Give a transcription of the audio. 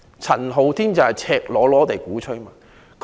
陳浩天則是赤裸裸地鼓吹"港獨"。